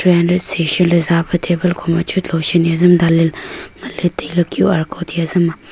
tree hundred sesan le zape table loshon hiam dan ley ley ngan ley tailey qr code hai hezam ma.